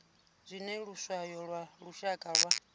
zwine luswayo lwa lushaka lwa